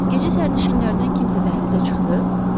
Gecə sərnişinlərdən kimsə dəhlizə çıxdı?